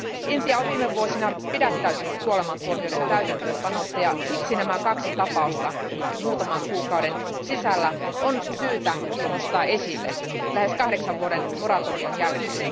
Intia on viime vuosina pidättäytynyt kuolemantuomioiden täytäntöönpanosta ja siksi nämä kaksi tapausta nyt muutaman kuukauden sisällä on syytä nostaa esille. Lähes kahdeksan vuoden moratorion jälkeen.